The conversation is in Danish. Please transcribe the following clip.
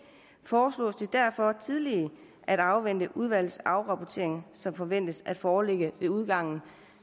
foreslås det derfor tillige at afvente udvalgets afrapportering som forventes at foreligge ved udgangen